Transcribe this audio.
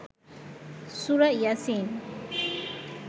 সুরা ইয়াছিন